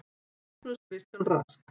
Rasmus Kristján Rask.